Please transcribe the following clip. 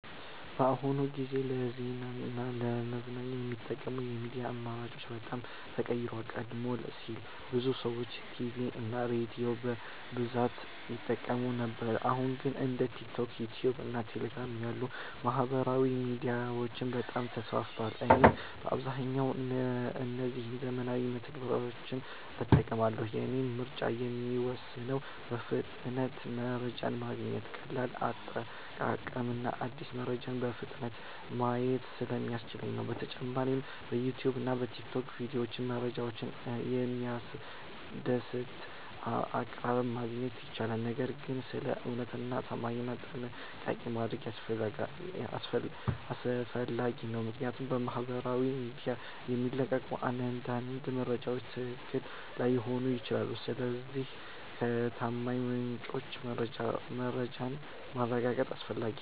በአሁኑ ጊዜ ለዜና እና ለመዝናኛ የሚጠቀሙት የሚዲያ አማራጮች በጣም ተቀይረዋል። ቀደም ሲል ብዙ ሰዎች ቲቪ እና ሬዲዮን በብዛት ይጠቀሙ ነበር አሁን ግን እንደ ቲክቶክ፣ ዩትዩብ እና ቴሌግራም ያሉ ማህበራዊ ሚዲያዎች በጣም ተስፋፍተዋል። እኔም በአብዛኛው እነዚህን ዘመናዊ መተግበሪያዎች እጠቀማለሁ። የእኔ ምርጫ የሚወሰነው በፍጥነት መረጃ ማግኘት፣ ቀላል አጠቃቀም እና አዳዲስ መረጃዎችን በፍጥነት ማየት ስለሚያስችሉ ነው። በተጨማሪም በዩትዩብ እና በቲክቶክ ቪዲዮዎች መረጃን በሚያስደስት አቀራረብ ማግኘት ይቻላል። ነገር ግን ስለ እውነተኛነት እና ታማኝነት ጥንቃቄ ማድረግ አስፈላጊ ነው፣ ምክንያቱም በማህበራዊ ሚዲያ የሚለቀቁ አንዳንድ መረጃዎች ትክክል ላይሆኑ ይችላሉ። ስለዚህ ከታማኝ ምንጮች መረጃን ማረጋገጥ አስፈላጊ ነው።